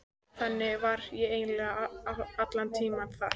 Þannig var ég eiginlega allan tímann þar.